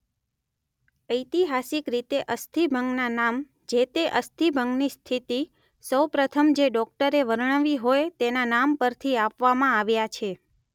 ઐતિહાસિક રીતે અસ્થિભંગના નામ જે-તે અસ્થિભંગની સ્થિતિ સૌ પ્રથમ જે ડોકટરે વર્ણવી હોય તેના નામ પરથી આપવામાં આવ્યા છે.